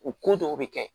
U ko dɔw bɛ kɛ